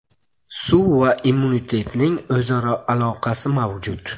Suv va immunitetning o‘zaro aloqasi mavjud.